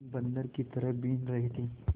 बंदर की तरह बीन रहे थे